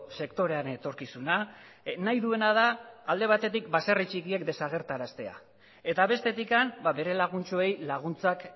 sektorearen etorkizuna nahi duena da alde batetik baserri txikiak desagerraraztea eta bestetik bere laguntxoei laguntzak